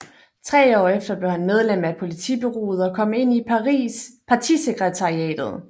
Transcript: Tre år efter blev han medlem af politbureauet og kom ind i partisekretariatet